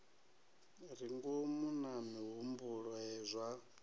re ngomu na mihumbulo zwa